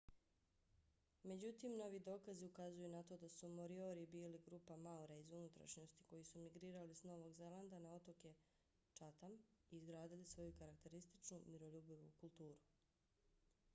međutim novi dokazi ukazuju na to da su moriori bili grupa maora iz unutrašnjosti koji su migrirali s novog zelanda na otoke chatham i izgradili svoju karakterističnu miroljubivu kulturu